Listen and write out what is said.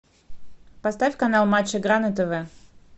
поставь канал матч игра на тв